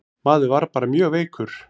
Maður var bara mjög veikur.